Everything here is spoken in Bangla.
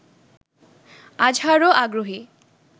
আজহারও আগ্রহী